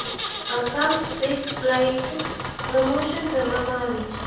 આ કામ space flight promotion કરવામાં આવી છે